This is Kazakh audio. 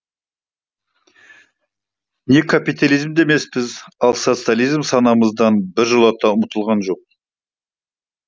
не капитализмде емеспіз ал социализм санамыздан біржолата ұмытылған жоқ